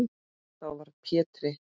Þá varð Pétri